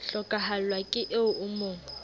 hlokahallwa ke eo o mo